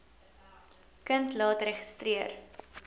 kind laat registreer